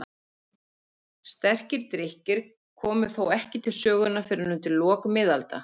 Sterkir drykkir komu þó ekki til sögunnar fyrr en undir lok miðalda.